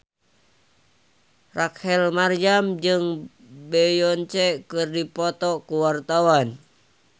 Rachel Maryam jeung Beyonce keur dipoto ku wartawan